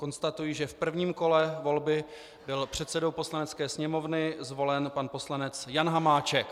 Konstatuji, že v prvním kole volby byl předsedou Poslanecké sněmovny zvolen pan poslanec Jan Hamáček.